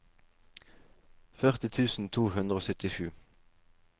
førti tusen to hundre og syttisju